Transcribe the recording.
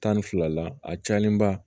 Tan ni fila la a cayalenba